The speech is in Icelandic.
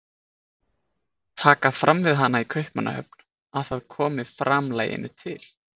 Taka fram við hana í Kaupmannahöfn að það komi framlaginu til